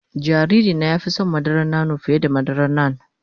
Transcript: Jariri na ya fi son madaran nono fiye da madaran nan.